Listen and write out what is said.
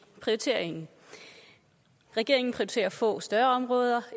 prioriteringen regeringen prioriterer få større områder